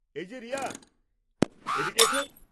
এই যে রিয়া, এদিকে এস।